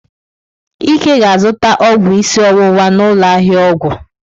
Ike ga-azụta ọgwụ isi ọwụwa na ụlọ ahịa ọgwụ.